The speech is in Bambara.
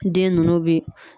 Den ninnu bɛ